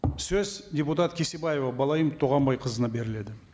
сөз депутат кесебаева балайым туғанбайқызына беріледі